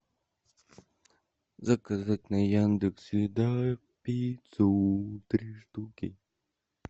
заказать на яндекс еда пиццу три штуки